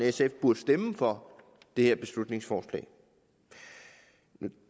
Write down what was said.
sf burde stemme for det her beslutningsforslag nu